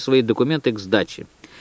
свои документы к сдаче